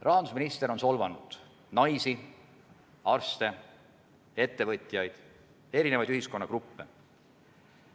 Rahandusminister on solvanud naisi, arste, ettevõtjaid, erinevaid ühiskonnagruppe.